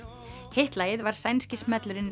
hitt lagið var sænski smellurinn